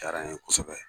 Diyara n ye kosɛbɛ